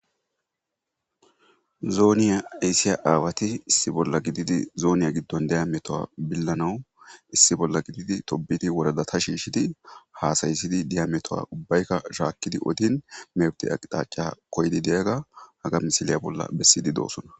Zoniya ayissiya awatti issi bolla gididi zoniya giduwanni diya metuwa bilanawu issi bolla gididi tobbidi woradata shishshidi hasayissid diya metuwa ubbayikka shakkidi oddin mefite aqqitaca koyidd diyagga haga missileyi bolla bessidi dosona.